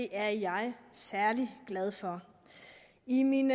er jeg særlig glad for i min